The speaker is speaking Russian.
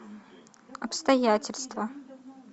обстоятельства